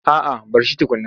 A'a a bar shi tukunna.